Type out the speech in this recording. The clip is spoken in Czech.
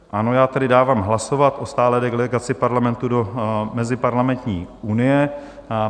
Ano, já tedy dávám hlasovat o stálé delegaci Parlamentu do Meziparlamentní unie.